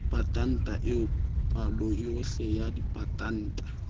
patanta eo paloyohle ya dipatanta